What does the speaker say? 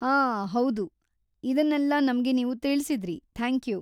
ಆ, ಹೌದು, ಇದನ್ನಲ್ಲ ನಮ್ಗೆ ನೀವು ತಿಳಿಸಿದ್ರಿ, ಥಾಂಕ್ಯೂ.